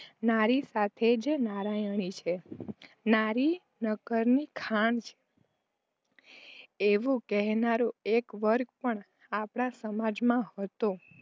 નારી સાચે જ નારાયણી છે. નારી નરકની ખાણ છે. એવું કહેનારૂ એક વર્ગ પણ આપણા સમાજમાં હતો.